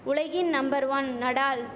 உலகின் number one Nadal